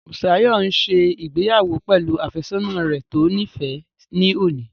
Bùsáyọ̀ n ṣe ìgbéyàwó pẹ̀lú àfẹ́sọ́nà rẹ̀ tó níìfẹ́ ní òní